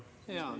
Palun!